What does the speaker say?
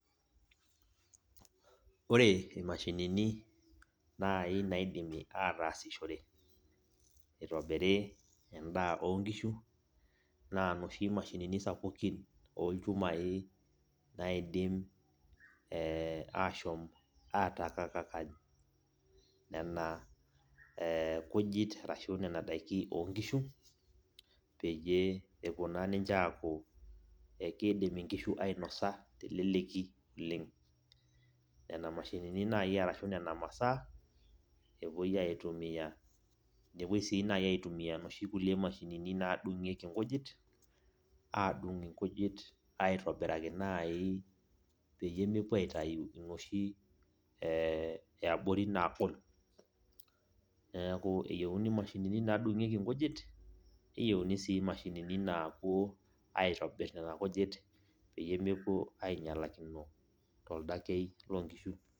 Ore imashinini nai naidimi ataasishore itobiri endaa onkishu, naa noshi mashinini sapukin olchumai naidim ashom atakakany, nena kujit arashu nena daikin onkishu, peyie epuo naa ninche aku ekidim inkishu ainosa teleleki oleng. Nena mashinini nai arashu nena masaa, epuoi aitumia. Nepoi si nai aitumia noshi kulie mashinini nadung'ieki nkujit, adung' inkujit aitobiraki nai peyie mepuo atayu inoshi eabori nagol. Neeku eyieuni mashinini nadung'ieki nkujit, neyieuni si mashinini napuo aitobir nena kujit peyie mepuo ainyalakino toldakei lonkishu.